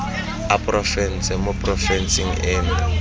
a porofense mo porofenseng eno